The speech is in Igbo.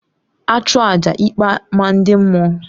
A chụọ àjà ikpe maa ndị mmụọ